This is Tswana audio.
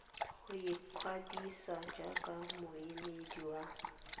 go ikwadisa jaaka moemedi wa